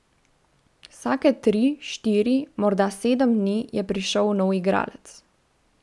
Vsake tri, štiri, morda sedem dni je prišel nov igralec.